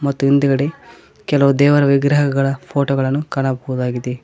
ಮತ್ತು ಹಿಂದ್ಗಡೆ ಕೆಲವು ದೇವರ ವಿಗ್ರಹಗಳ ಫೋಟೋ ಗಳನ್ನು ಕಾಣಬಹುದಾಗಿದೆ.